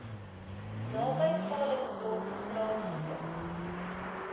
naby calitzdorp plaasgevind